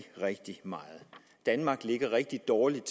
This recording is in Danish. rigtig meget danmark ligger rigtig dårligt